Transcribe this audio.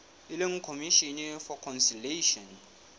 e leng commission for conciliation